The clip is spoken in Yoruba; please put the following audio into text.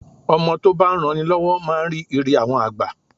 Ọmọ tó bá ń ran ni lọ́wọ́ máa ń rí Ire àwọn àgbà.